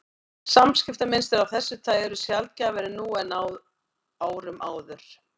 Samskiptamynstur af þessu tagi eru sjaldgæfari nú en á árum áður.